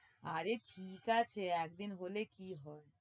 আরে ঠিক আছে, একদিন হলে কি হবে?